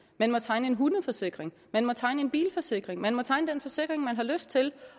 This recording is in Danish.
man må tegne en hundeforsikring man må tegne en bilforsikring man må tegne den forsikring man har lyst til